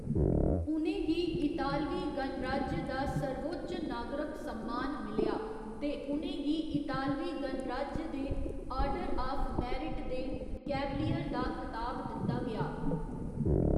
उ'नें गी इतालवी गणराज्य दा सर्वोच्च नागरक सम्मान मिलेआ ते उ'नें गी इतालवी गणराज्य दे आर्डर आफ मेरिट दे 'कैवलियर' दा खताब दित्ता गेआ।